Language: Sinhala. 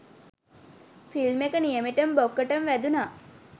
ෆිල්ම් එක නියමෙටම බොක්කටම වැදුනා